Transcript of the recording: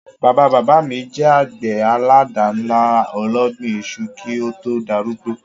Bàbá-bàbá mi je àgbè àládànlá ológbin isu ki o to darúgbó